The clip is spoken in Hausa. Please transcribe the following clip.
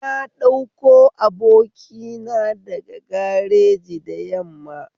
Na ɗauko abokina daga gareji da yamma